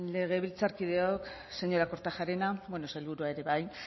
legebiltzarkideok señora kortajarena sailburuak ere bai